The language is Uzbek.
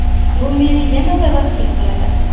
Bu meni yanada baxtli qiladi.